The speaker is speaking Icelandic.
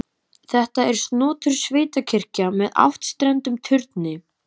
Þetta er snotur sveitakirkja með áttstrendum turni.